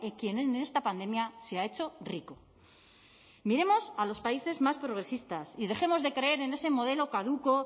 quien en esta pandemia se ha hecho rico miremos a los países más progresistas y dejemos de creer en ese modelo caduco